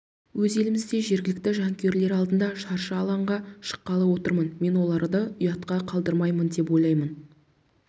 өз елімізде жергілікті жанкүйерлер алдында шаршы алаңға шыққалы отырмын мен оларды ұятқа қалдырмаймын деп ойлаймын